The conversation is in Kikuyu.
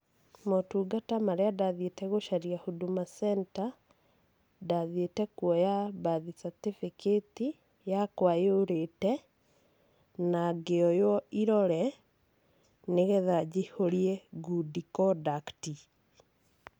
Motungata marĩa ndathiĩte gũcaria Huduma Center, ndathiĩte kuoya birth certificate yakwa yũrĩte, na ngĩoywo irore, nĩgetha njihũrie good conduct.